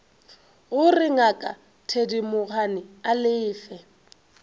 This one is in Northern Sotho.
gore ngaka thedimogane a lefe